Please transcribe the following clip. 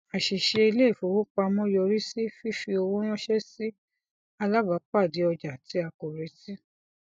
àṣìṣe iléifowopamọ yọrí sí fífi owó ranṣẹ sí alábàápàdé ọjà tí a kò retí